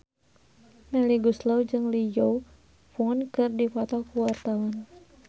Melly Goeslaw jeung Lee Yo Won keur dipoto ku wartawan